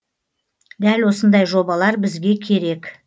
дәл осындай жобалар бізге керек